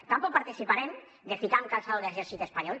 tampoc participarem de ficar amb calçador l’exèrcit espanyol